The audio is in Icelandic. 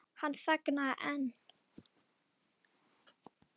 Hann þagnaði en